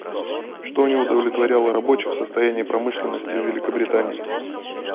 что не удовлетворяло рабочих в состоянии промышленности в великобритании